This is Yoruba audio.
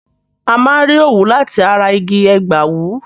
A máa n rí òwú láti ara igi ẹ̀gbàwú